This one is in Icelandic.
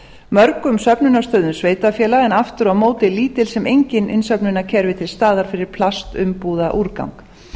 mörgum söfnunarstöðum sveitarfélaga en aftur á móti lítil sem engin innsöfnunarkerfi til staðar fyrir plastumbúðaúrgang